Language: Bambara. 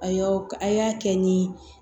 A y'aw a y'a kɛ ni